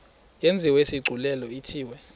yenziwe isigculelo ithiwe